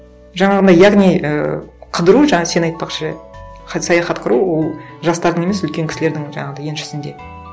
жаңағындай яғни ы қыдыру жаңа сен айтпақшы саяхат құру ол жастардың емес үлкен кісілердің жаңағындай еншісінде